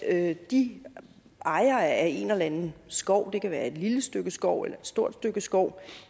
at de ejere af en eller anden skov det kan være et lille stykke skov eller et stort stykke skov